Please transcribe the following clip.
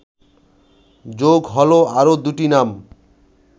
যোগ হলো আরও দুটি নাম